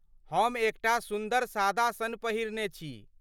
हम एकटा सुन्दर सादा सन पहिरने छी।